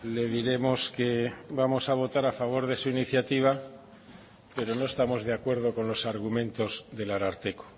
le diremos que vamos a votar a favor de su iniciativa pero no estamos de acuerdo con los argumentos del ararteko